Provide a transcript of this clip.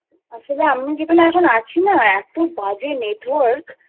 আসলে আমি এখন যেখানে আছি না এতো বাজে Network না